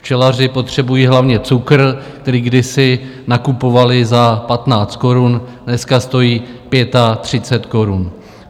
Včelaři potřebují hlavně cukr, který kdysi nakupovali za 15 korun, dneska stojí 35 korun.